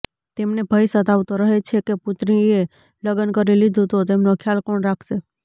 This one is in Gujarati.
તેમને ભય સતાવતો રહે છે કે પુત્રીએ લગ્ન કરી લીધુ તો તેમનો ખ્યાલ કોણ રાખશે